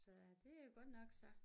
Så det jo godt nok så